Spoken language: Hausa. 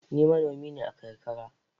Ni manomi ne a karkara.